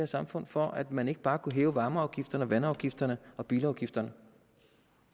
samfund for at man ikke bare kunne hæve varmeafgifterne vandafgifterne og bilafgifterne